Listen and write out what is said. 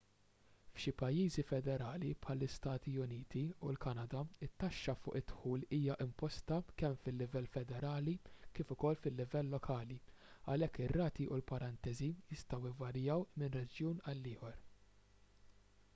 f'xi pajjiżi federali bħall-istati uniti u l-kanada it-taxxa fuq id-dħul hija imposta kemm fil-livell federali kif ukoll fil-livell lokali għalhekk ir-rati u l-parentesi jistgħu jvarjaw minn reġjun għal ieħor